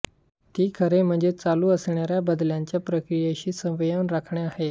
ती खरे म्हणजे चालू असणाऱ्या बदलांच्या प्रक्रियेशी समन्वय राखणे आहे